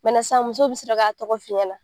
sisan muso bɛ sɔrɔ k'a tɔgɔ f'i ɲɛ na.